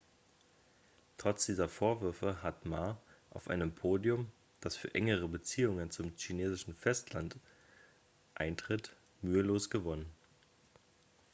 trotz dieser vorwürfe hat ma auf einem podium das für engere beziehungen zum chinesischen festland eintritt mühelos gewonnen.x